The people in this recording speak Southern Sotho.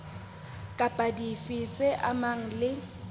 kapa dife tse amanang le